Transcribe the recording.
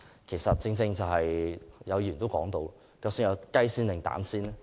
其實正如議員所言，究竟先有雞還是先有蛋呢？